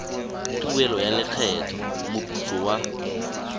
tuelo ya lekgetho moputso wa